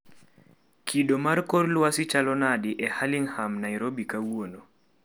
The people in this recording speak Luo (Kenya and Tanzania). Kido mar kor lwasi chalo nade e Hurlingham Nairobi kawuono